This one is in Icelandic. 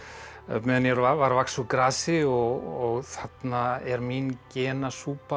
meðan ég var að vaxa úr grasi og þarna er mín